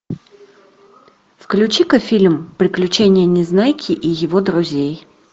включи ка фильм приключения незнайки и его друзей